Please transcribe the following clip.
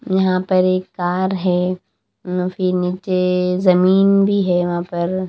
यहां पर एक कार है फिर नीचे जमीन भी है वहां पर।